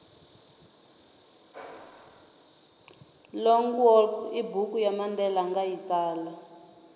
long walk ibhuku yamandela angayitsala